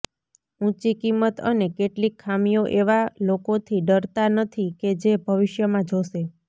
ઊંચી કિંમત અને કેટલીક ખામીઓ એવા લોકોથી ડરતા નથી કે જે ભવિષ્યમાં જોશે